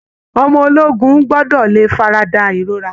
Ọmọ ológun gbọ́ọ́dọ̀ lè farada ìrora